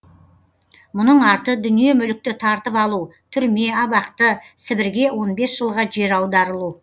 мұның арты дүние мүлікті тартып алу түрме абақты сібірге он бес жылға жер аударылу